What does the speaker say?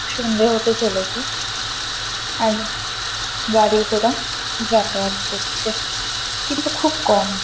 সন্ধ্যে হতে চলেছে আর গাড়ি ঘোড়া যাতায়াত করছে কিন্তু খুব কম ।